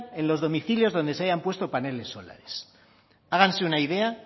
en los domicilios donde se hayan puesto paneles solares háganse una idea